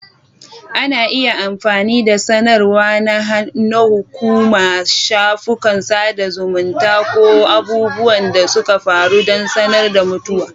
Ana iya amfani da sanarwa na hukuma, shafukan sada zumunta, ko abubuwan da suka faru don sanar da mutuwa.